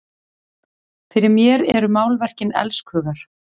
Fyrir mér eru málverkin elskhugar!